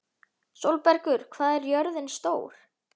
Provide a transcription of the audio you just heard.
Sólbergur, hvað er jörðin stór?